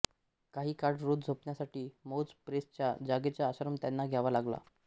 काही काळ रोज झोपण्यासाठी मौज प्रेसच्या जागेचा आश्रय त्यांना घ्यावा लागला